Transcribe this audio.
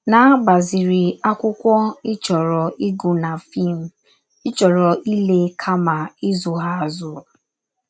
Na - agbaziri akwụkwọ ị chọrọ ịgụ na fim ị chọrọ ịle kama ịzụ ha azụ. *